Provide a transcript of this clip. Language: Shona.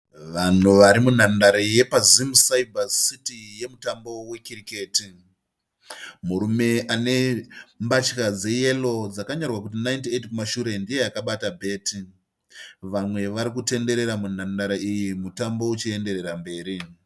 Vanhu vari munhandare yepa"Zim Cyber City" yemutambo wekiriketi. Murume ane mbatya dze"yellow" dzakanyorwa kuti 98 kumashure ndiye akabata bheti. Vamwe vari kutenderera munhandare iyi mutambo uchienderera mberi.